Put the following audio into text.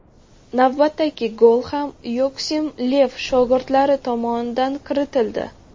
Navbatdagi gol ham Yoaxim Lev shogirdlari tomonidan kiritildi.